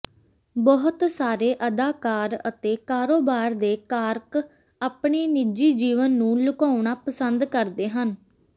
ਬਹੁਤ ਸਾਰੇ ਅਦਾਕਾਰ ਅਤੇ ਕਾਰੋਬਾਰ ਦੇ ਕਾਰਕ ਆਪਣੇ ਨਿੱਜੀ ਜੀਵਨ ਨੂੰ ਲੁਕਾਉਣਾ ਪਸੰਦ ਕਰਦੇ ਹਨ